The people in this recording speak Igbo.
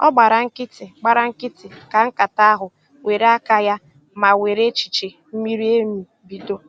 Ọ gbara nkịtị, gbara nkịtị, ka nkata ahụ were aka ya ma were echiche miri emi bido